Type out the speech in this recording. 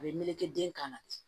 A bɛ meleke den kan na